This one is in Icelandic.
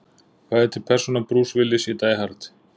Hvað heitir persóna Bruce Willis í Die Hard?